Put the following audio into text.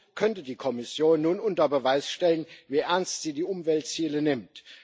Somit könnte die Kommission nun unter Beweis stellen, wie ernst sie die Umweltziele nimmt.